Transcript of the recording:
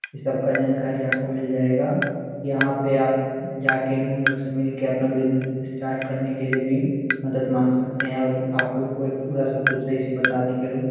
ई सब का जानकारी आप को मिल जायेगा यहाँ पे आप जाके उन लोग से मिल के अपना बिज़नस स्टार्ट करने के लिए भी मदद मांग सकते है और आप लोगो को ये पूरा सब कुछ सही से बता देंगे ये लोग --